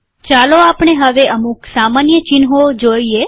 ચાલો આપણે હવે અમુક સામાન્ય ચિહ્નો જોઈએ